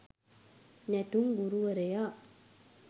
නැටුම් ගුරුවරයා.